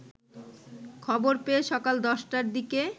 খবর পেয়ে সকাল ১০টার দিকে